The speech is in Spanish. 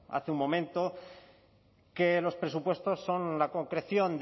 hace un momento que los presupuestos son la concreción